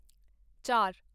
ਚਾਰ